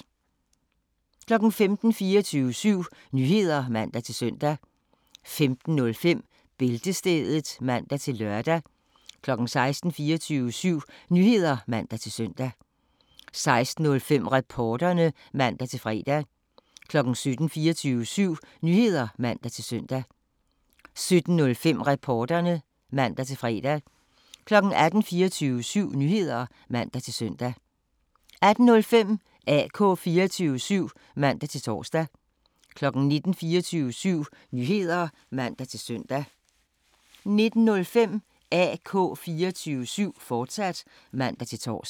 15:00: 24syv Nyheder (man-søn) 15:05: Bæltestedet (man-lør) 16:00: 24syv Nyheder (man-søn) 16:05: Reporterne (man-fre) 17:00: 24syv Nyheder (man-søn) 17:05: Reporterne (man-fre) 18:00: 24syv Nyheder (man-søn) 18:05: AK 24syv (man-tor) 19:00: 24syv Nyheder (man-søn) 19:05: AK 24syv, fortsat (man-tor)